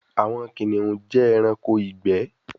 Awọn kiniun jẹ ẹranko igbẹ